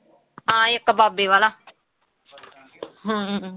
ਹਾਂ ਇੱਕ ਬਾਬੇ ਵਾਲਾ ਹਮ